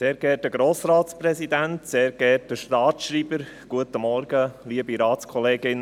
Am letzten Sonntag war ich bei jemandem zu Besuch.